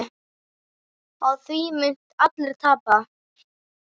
Á því munu allir tapa.